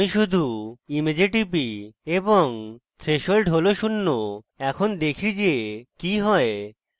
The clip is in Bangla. আমি শুধু image টিপি এবং threshold হল শূন্য এখন দেখি যে কি হয়